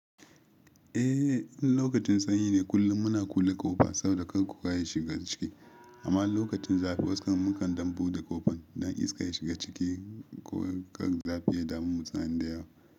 Eh, in lokacin sanyi ne kullum muna kulle ƙofa saboda kar kowa ya shiga ciki. Amma lokacin zafi wasu mukan ɗan buɗe ƙofan don iska ya shiga ciki ko kar zafi ya damu mutane da yawa.